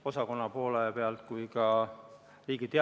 Pensionifondide ootused on ju 40–50 aasta peale üles ehitatud.